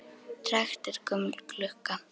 Trekkt er gömul klukka.